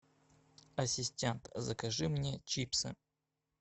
ассистент закажи мне чипсы